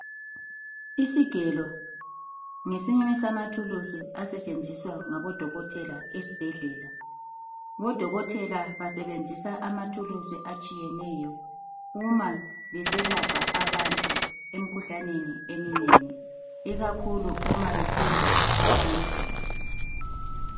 Isigelo ngesinye samathuluzi asetshenziswa ngabodokothela esibhedlela. Bodokothela basebenzisa amathuluzi atshiyeneyo uma beselapha abantu emkhuhlaneni eminengi ikakhulu uma behlinza abantu .